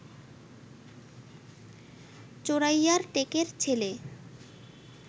চোরাইয়ার টেকের ছেলে